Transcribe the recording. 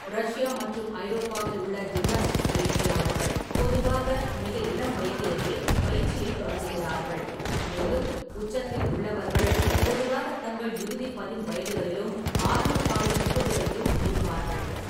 Russia மற்றும் ஐரோப்பாவில் உள்ள ஜிம்னாஸ்டிக்ஸ் பயிற்சியாளர்கள் பொதுவாக மிக இளம் வயதிலேயே பயிற்சியைத் தொடங்குகிறார்கள், மேலும் உச்சத்தில் உள்ளவர்கள் பொதுவாக தங்கள் இறுதி பதின் வயதுகளிலும் ஆரம்ப கால இருபதுகளிலும் இருப்பார்கள்.